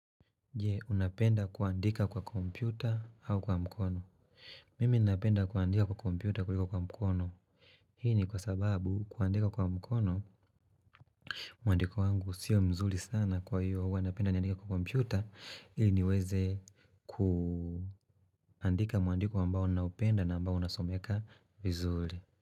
Je, unapenda kuandika kwa kompyuta au kwa mkono? Mimi napenda kuandika kwa kompyuta kuliko kwa mkono Hii ni kwa sababu kuandika kwa mkono mwandiko wangu sio mzuri sana kwa hivyo huwa napenda niandike kwa kompyuta ili niweze kuandika mwandiko ambao ninaupenda na ambao unasomeka vizuri.